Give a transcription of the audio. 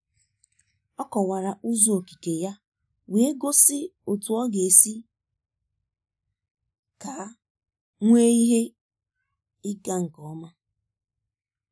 Ọ kọwara ụzọ okike ya wee gosi otu ọ ga-esi ka nwee ihe ịga nke ọma.